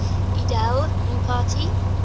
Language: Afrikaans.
edele mpati